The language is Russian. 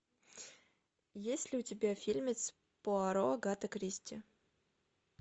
есть ли у тебя фильмец пуаро агаты кристи